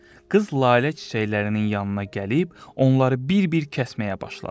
Qız lalə çiçəklərinin yanına gəlib, onları bir-bir kəsməyə başladı.